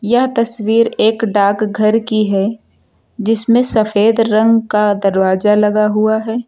यह तस्वीर एक डाकघर की है जिसमें सफेद रंग का दरवाजा लगा हुआ है।